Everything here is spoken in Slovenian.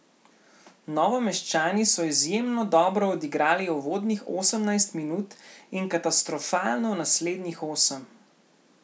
Novomeščani so izjemno dobro odigrali uvodnih osemnajst minut in katastrofalno naslednjih osem.